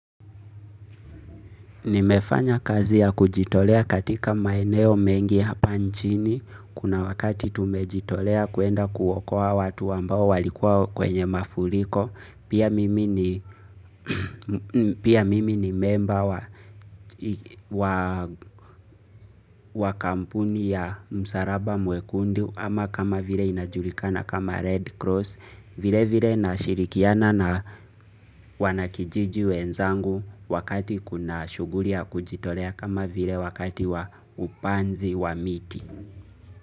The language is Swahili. Nimefanya kazi ya kujitolea katika maeneo mengi hapa nchini, kuna wakati tumejitolea kuenda kuokoa watu ambao walikua kwenye mafuliko, pia mimi ni pia mimi ni memba wa hii wa kampuni ya msaraba mwekundu ama kama vile inajulikana kama Red Cross, vile vile na shirikiana na wanakijiji wenzangu wakati kuna shuguli ya kujitolea kama vile wakati wa upanzi wa miti.